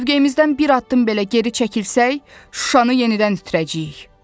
Mövqeyimizdən bir addım belə geri çəkilsək, Şuşanı yenidən itirəcəyik.